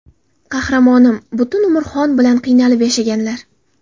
Qahramonim, butun umr xon bilan qiynalib yashaganlar.